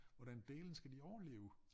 Hvordan dælen skal de overleve